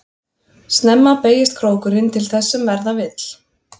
Snemma beygist krókurinn til þess sem verða vill.